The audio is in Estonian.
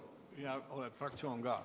Ja oled fraktsioon ka.